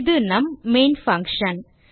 இது நம் main function